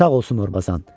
Sağ olsun Morbazan.